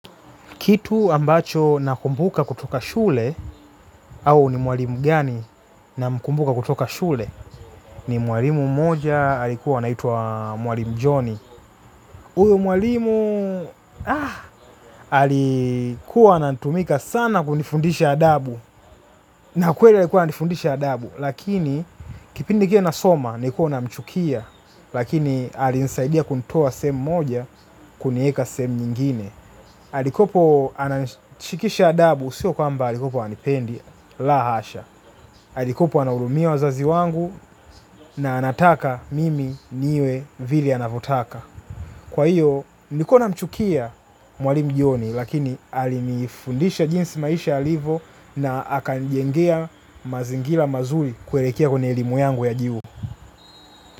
Kitu ambacho nakumbuka kutoka shule au ni mwalimu gani namkumbuka kutoka shule. Ni mwalimu mmoja alikuwa anaitwa mwalimu john. Huyu mwalimu alikuwa anatumika sana kunifundisha adabu. Na kweli alikuwa ananifundisha adabu. Lakini kipindi kile nasoma nilikuwa namchukia. Lakini alinisaidia kunitoa sehemu moja kunieka sehemu nyingine. Halikuwepo ananishikisha adabu, sio kwamba alikuwepo hanipendi, la hasha. Alikuwepo anahurumia wazazi wangu na anataka mimi niwe vile anavyotaka. Kwa hiyo, nilikuwa namchukia mwalimu John, lakini alinifundisha jinsi maisha yalivo na akanijengea mazingira mazuri kuelekea kwenye elimu yangu ya juu.